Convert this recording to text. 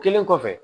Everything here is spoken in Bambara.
Kelen kɔfɛ